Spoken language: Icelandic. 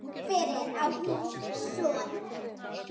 Fyrir á hún son.